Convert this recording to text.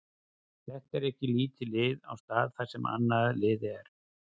Þetta er ekki lítið lið á stað þar sem annað lið er.